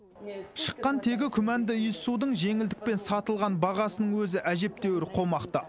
шыққан тегі күмәнді иіссудың жеңілдікпен сатылған бағасының өзі әжептеуір қомақты